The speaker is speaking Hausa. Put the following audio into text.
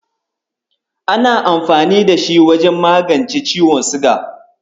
Ana amfani da shi wajen magance ciwon siga.